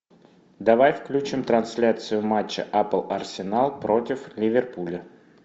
давай включим трансляцию матча апл арсенал против ливерпуля